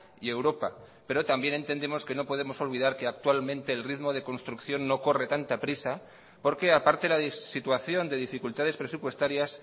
y europa pero también entendemos que no podemos olvidar que actualmente el ritmo de construcción no corre tanta prisa porque aparte de la situación de dificultades presupuestarias